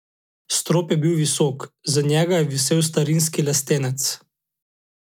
Strop je bil visok, z njega je visel starinski lestenec.